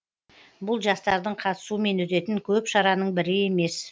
бұл жастардың қатысуымен өтетін көп шараның бірі емес